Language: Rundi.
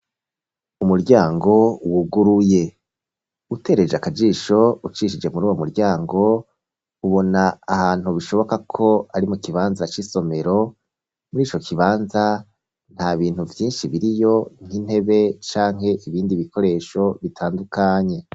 Umuryango wuguruye, utereje akajisho ucishije muruyo muryango ubona ahantu bishoboka ko ari mukibanza c’isomero murico kibanza ntabintu vyinshi biriyo nk’intebe canke ibintu vyinshi bitandukanye.